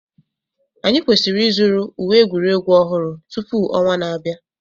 Anyị kwesịrị ịzụrụ uwe egwuregwu ọhụrụ tupu ọnwa na-abịa